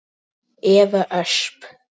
Eva Ösp.